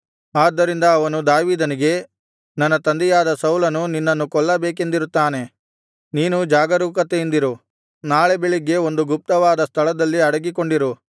ಆದ್ದರಿಂದ ಅವನು ದಾವೀದನಿಗೆ ನನ್ನ ತಂದೆಯಾದ ಸೌಲನು ನಿನ್ನನ್ನು ಕೊಲ್ಲಬೇಕೆಂದಿರುತ್ತಾನೆ ನೀನು ಜಾಗರೂಕತೆಯಿಂದಿರು ನಾಳೆ ಬೆಳಿಗ್ಗೆ ಒಂದು ಗುಪ್ತವಾದ ಸ್ಥಳದಲ್ಲಿ ಅಡಗಿಕೊಂಡಿರು